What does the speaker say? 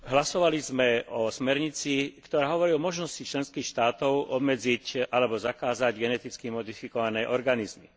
Hlasovali sme o smernici, ktorá hovorí o možnosti členských štátov obmedziť alebo zakázať geneticky modifikované organizmy.